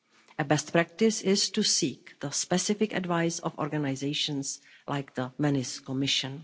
A best practice is to seek the specific advice of organisations like the Venice Commission.